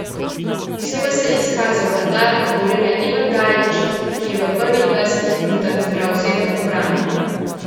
Posebej se je izkazal vratar Gorenja Ivan Gajić, ki je v prvih dvajsetih minutah zbral sedem obramb.